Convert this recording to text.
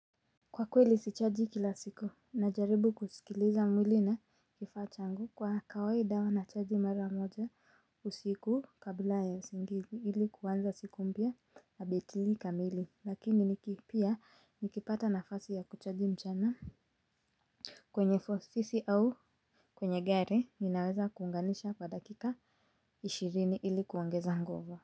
Kwa kweli sichaji kila siku najaribu kusikiliza mwili na kifaa changu kwa kawaida huwa nachaji mara moja usiku kabla ya usingizi ili kuanza siku mpya na betili kamili lakini pia nikipata nafasi ya kuchaji mchana. Ofisi au kwenye gari ninaweza kuunganisha kwa dakika ishirini ili kuongeza nguvu.